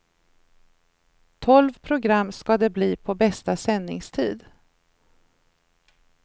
Tolv program ska det bli på bästa sändningstid.